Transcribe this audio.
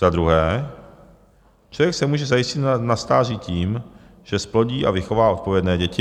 Za druhé, člověk se může zajistit na stáří tím, že zplodí a vychová odpovědné děti.